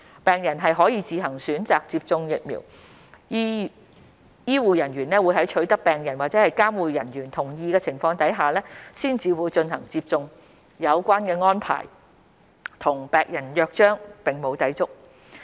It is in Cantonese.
病人可自行選擇接種疫苗，醫護人員會在取得病人或監護人同意的情況下才進行接種，有關安排與《病人約章》並無抵觸。